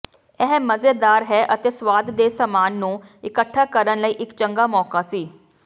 ਇਹ ਮਜ਼ੇਦਾਰ ਹੈ ਅਤੇ ਸਵਾਦ ਦੇ ਸਾਮਾਨ ਨੂੰ ਇਕੱਠਾ ਕਰਨ ਲਈ ਇੱਕ ਚੰਗਾ ਮੌਕਾ ਸੀ